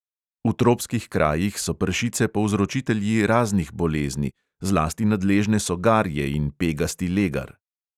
V tropskih krajih so pršice povzročitelji raznih bolezni, zlasti nadležne so garje in pegasti legar.